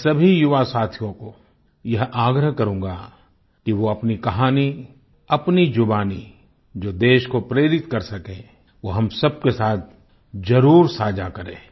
मैं सभी युवा साथियों को यह आग्रह करूँगा कि वो अपनी कहानी अपनी जुबानी जो देश को प्रेरित कर सके वो हम सब के साथ जरुर साझा करें